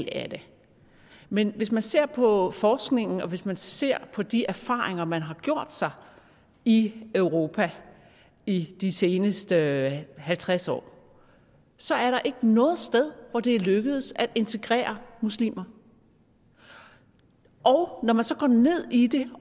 af det men hvis man ser på forskningen og hvis man ser på de erfaringer man har gjort sig i europa i de seneste halvtreds år så er der ikke noget sted hvor det er lykkedes at integrere muslimer og når man så går ned i det